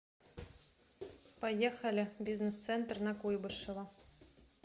поехали бизнес центр на куйбышева